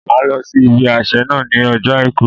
Màá lọ sí ibi àsẹ̀ náà ní ọjọ́ Àìkú